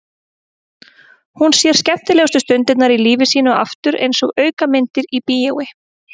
Hún sér skemmtilegustu stundirnar í lífi sínu aftur einsog aukamyndir í bíói.